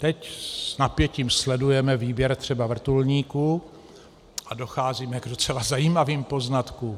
Teď s napětím sledujeme výběr třeba vrtulníků a docházíme k docela zajímavých poznatkům.